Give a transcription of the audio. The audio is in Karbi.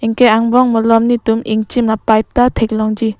anke angbong malom netum ingchin a pipe ta theklongji.